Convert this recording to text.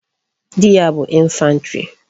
Di ya bu infantry